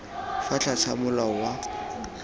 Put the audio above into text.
fa tlase ga molao wa